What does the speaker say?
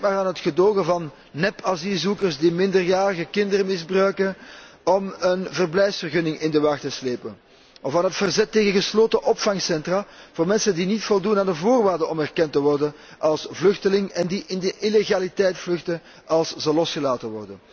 Denk maar aan het gedogen van nepasielzoekers die minderjarige kinderen misbruiken om een verblijfsvergunning in de wacht te slepen, of aan het verzet tegen gesloten opvangcentra voor mensen die niet voldoen aan de voorwaarden om erkend te worden als vluchteling en die in de illegaliteit vluchten als ze worden losgelaten.